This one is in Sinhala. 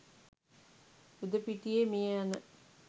යුධ පිටියේ මියයන